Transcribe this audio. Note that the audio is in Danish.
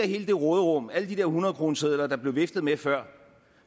i hele det råderum alle de hundredkronesedler der blev viftet med før